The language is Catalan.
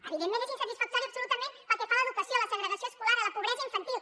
evidentment és insatisfactori absolutament pel que fa a l’educació a la segregació escolar a la pobresa infantil